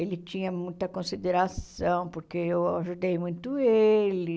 Ele tinha muita consideração, porque eu ajudei muito ele.